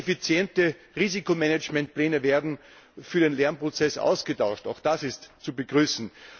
Effiziente Risikomanagementpläne werden für den Lernprozess ausgetauscht, auch das ist zu begrüßen.